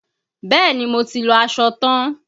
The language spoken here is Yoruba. Bẹ́ẹ̀ni, mo ti lọ aṣọ tan.